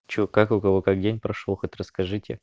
что как у кого как день прошёл хоть расскажите